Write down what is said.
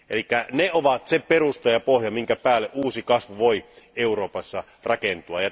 Eli ne ovat se perusta ja pohja, jonka päälle uusi kasvu voi Euroopassa rakentua.